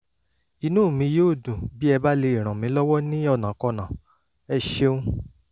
inú mi yóò dùn bí ẹ bá lè ràn mí lọ́wọ́ ní ọ̀nàkọnà! ẹ ṣeun